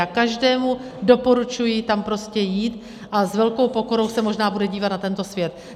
Já každému doporučuji tam prostě jít a s velkou pokorou se možná bude dívat na tento svět.